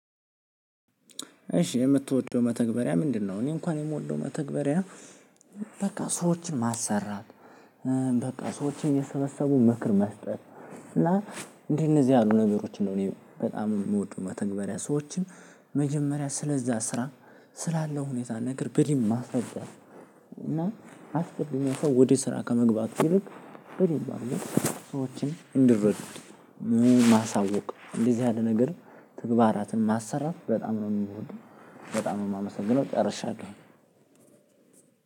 እሺ የምትወደው መተግበሪያ ምንድነው? እኔ እንኳን የምወደው መተግበሪያ። በቃ ሰዎችን ማሰራ። በቃ ሰዎችን እየሰበሰቡ ምክር መስጠት። እና እንደነዚህ ያሉ ነገሮችን ነው እኔ በጣም የምወደው። መተግበሪያ ሰዎችን መጀመሪያ ስለዛ ስራ ስላለው ሁኔታ ነገር በድንብ ማስረዳት። እና አስቀድሞ ሰው ወደ ስራ ከመግባት ይልቅ በድንብ ማስቀመጥ። እንድረዱ ማሳወቅ እንደዚህ ያለ ነገር ተግባራትን ማሰራት በጣም ነው የምወደው። በጣም ነው የማመሰግነው ጨርሻለሁ።